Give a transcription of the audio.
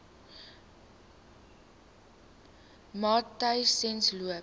matyzensloop